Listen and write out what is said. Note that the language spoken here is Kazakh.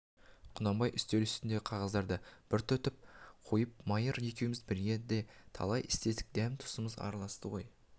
құнанбай үстел үстіндегі қағаздарды бір түртіп қойып майыр екеуміз бірге де талай істестік дәм-тұзымыз араласты ғой